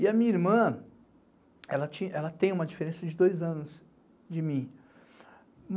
E a minha irmã, ela tem uma diferença de dois anos de mim.